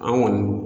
An kɔni